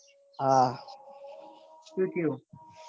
હા સુ થયું.